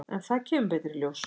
En það kemur betur í ljós.